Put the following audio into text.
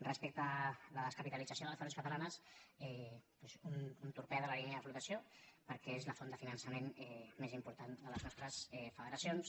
respecte a la descapitalització de les federacions cata·lanes doncs un torpede en la línia de flotació perquè és la font de finançament més important de les nostres federacions